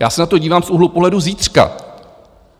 Já se na to dívám z úhlu pohledu zítřka.